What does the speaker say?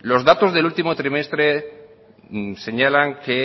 los datos del último trimestre señalan que